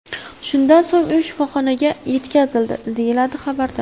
Shundan so‘ng u shifoxonaga yetkazildi”, deyiladi xabarda.